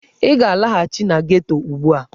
Ị ga-alaghachi na geto ugbu a!